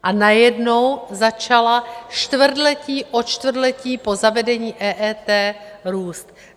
A najednou začala čtvrtletí od čtvrtletí po zavedení EET růst.